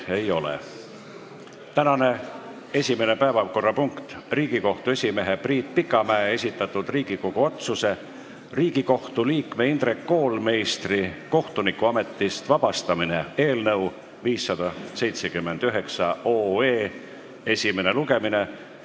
Tänane esimene päevakorrapunkt: Riigikohtu esimehe Priit Pikamäe esitatud Riigikogu otsuse "Riigikohtu liikme Indrek Koolmeistri kohtunikuametist vabastamine" eelnõu 579 esimene lugemine.